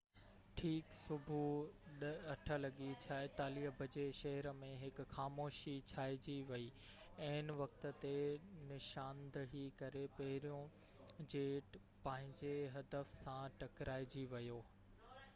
ٺيڪ صبح 8:46 بجي شهر ۾ هڪ خاموشي ڇائنجي وئي عين وقت تي نشاندهي ڪري پهريون جيٽ پنهنجي هدف سان ٽڪرائجي ويو